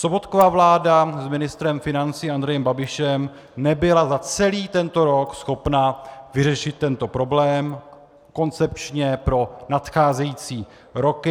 Sobotkova vláda s ministrem financí Andrejem Babišem nebyla za celý tento rok schopna vyřešit tento problém koncepčně pro nadcházející roky.